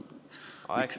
Aeg, Peeter!